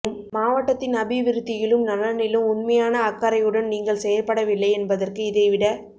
மாவட்டத்தின் அபிவிருத்தியிலும் நலனிலும் உண்மையான அக்கறையுடன் நீங்கள் செயற்படவில்லை என்பதற்கு இதைவிட